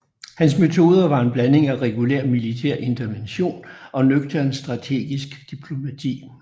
Hans metoder var en blanding af regulær militær intervention og nøgtern strategisk diplomati